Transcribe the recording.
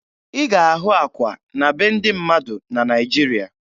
Ị ga-ahụ akwa na be ndị mmadụ na Naịjiria